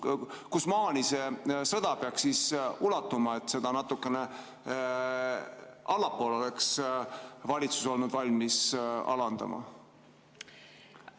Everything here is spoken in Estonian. Kuhumaani sõda peaks ulatuma, et valitsus oleks olnud valmis käibemaksu natukene alandama?